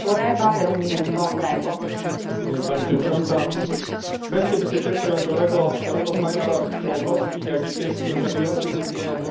Kwestie bezpieczeństwa jądrowego zarówno w państwach członkowskich jak i tych sąsiadujących ze wspólnotą powinny być przedmiotem szczególnej uwagi Unii Europejskiej.